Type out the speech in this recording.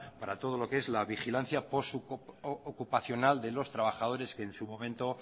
para todo lo que es la vigilancia ocupacional de los trabajadores que en su momento